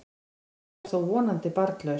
Þú ert þó vonandi barnlaus?